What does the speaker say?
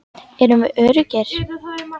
Erum við öruggir?